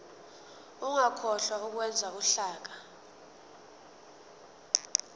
ungakhohlwa ukwenza uhlaka